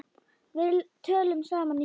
Við töluðum saman í síma.